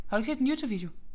Har du ikke set den Youtube video